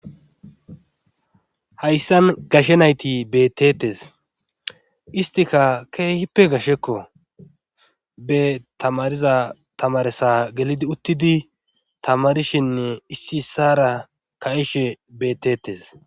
Hayssan gashe nayti betetes istika keehippe gashekko be tamariza tamaresa gelidi uttidi tamarishin issi issara ka7ishe betetes.